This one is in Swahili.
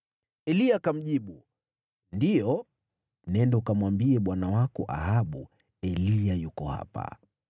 Eliya akamjibu, “Ndiyo, nenda ukamwambie bwana wako Ahabu, ‘Eliya yuko hapa.’ ”